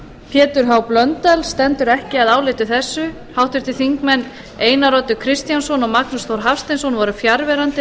pétur h blöndal stendur ekki að áliti þessu háttvirtir þingmenn einar oddur kristjánsson og magnús þór hafsteinsson voru fjarverandi við